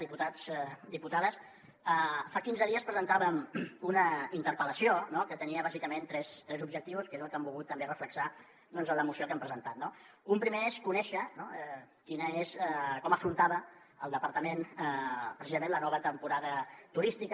diputats diputades fa quinze dies presentàvem una interpel·lació que tenia bàsicament tres objectius que és el que hem volgut també reflectir en la moció que hem presentat no un primer és conèixer com afrontava el departament precisament la nova temporada turística